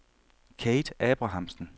Kate Abrahamsen